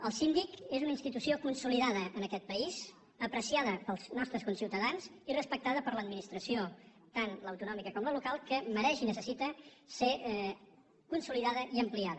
el síndic és una institució consolidada en aquest país apreciada pels nostres conciutadans i respectada per l’administració tant l’autonòmica com la local que mereix i necessita ser consolidada i ampliada